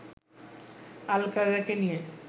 আল-কায়েদাকে নিয়ে